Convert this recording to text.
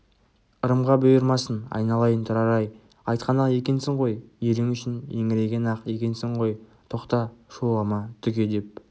ырымға бұйырмасын айналайын тұрар-ай айтқан-ақ екенсің ғой елің үшін еңіреген-ақ екенсің ғой тоқта шулама түге деп